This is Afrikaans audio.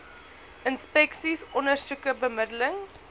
inspeksies ondersoeke bemiddeling